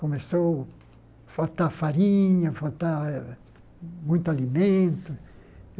Começou a faltar farinha, faltar eh muito alimento.